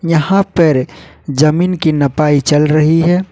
यहां पर जमीन की नपाई चल रही है।